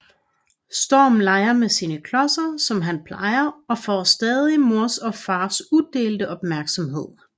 Storm leger med sine klodser som han plejer og får stadig mors og fars udelte opmærksomhed